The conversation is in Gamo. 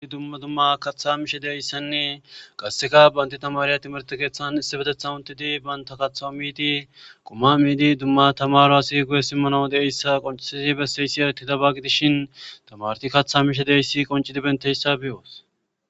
Dumma dumma kaththaa mishe de7izayssanne qassika banththa thamaariya thimirththe keeththan issippetheththan uththidi banththa kaththaa miidi qumaa miidi dumma thamaaraasi guuye simmanawu de7issa qonccissidi bessiisi hayththidaba gidishin thamaarethi kaththaa mishe de7issi qonccidi benththe7issa be7oos.